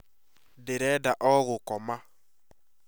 Ndirenda o gũkoma